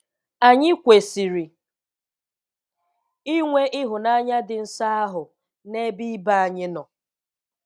Anyị kwesịrị inwe ịhụnanya dị nsọ ahụ n'ebe ibe anyị nọ